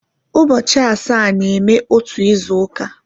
Ụbọchị asaa na-eme otu izu uka